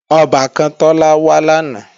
Ọbàkan Tọ́lá wá làná